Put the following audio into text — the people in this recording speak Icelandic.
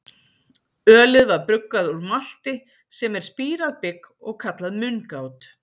Ölið var bruggað úr malti, sem er spírað bygg, og kallað mungát.